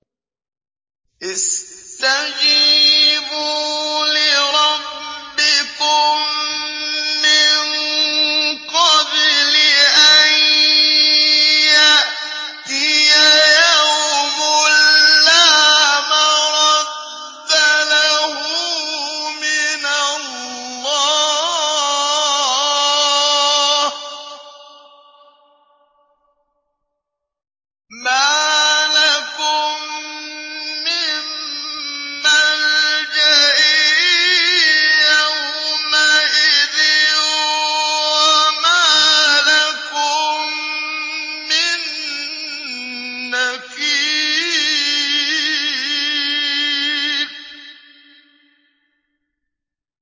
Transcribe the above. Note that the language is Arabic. اسْتَجِيبُوا لِرَبِّكُم مِّن قَبْلِ أَن يَأْتِيَ يَوْمٌ لَّا مَرَدَّ لَهُ مِنَ اللَّهِ ۚ مَا لَكُم مِّن مَّلْجَإٍ يَوْمَئِذٍ وَمَا لَكُم مِّن نَّكِيرٍ